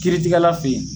Kiiritigɛla fe yen